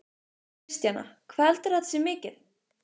Kristjana: Hvað heldurðu að þetta sé mikið?